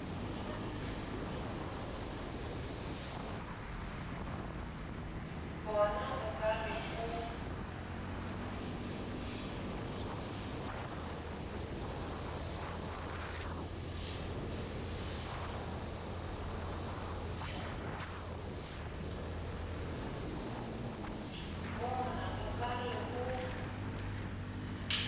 bona o ka re o